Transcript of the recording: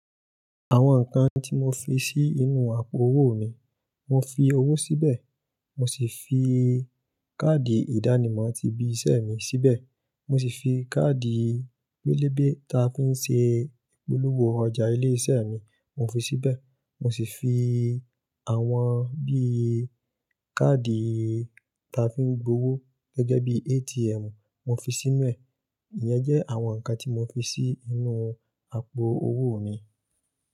Àwọn nǹkan tí mo fi sí inú àpò owó mi, mo fi owó síbẹ̀, mo sì fi káàdì ìdánimọ̀ ti ibi iṣẹ́ mi síbẹ̀, mo sì fi káàdì wélébé ta fi ń ṣe ìpolówó ọjà ilé iṣẹ́ mi, mo fi síbẹ̀, mo sì fi àwọn bí i káàdì ta fi ń gbowó gẹ́gẹ́ bí ATM mo fi sínú ẹ̀. Ìyẹn jẹ́ àwọn nǹkan tí mo fi sí inú àpò owó mi.